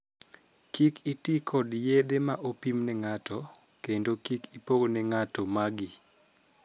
Kik itii kod yedhe ma opim ne ng'ato, kendo kik ipogne ng'ato magi.